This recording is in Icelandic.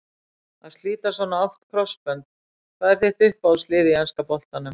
Að slíta svona oft krossbönd Hvað er þitt uppáhalds lið í enska boltanum?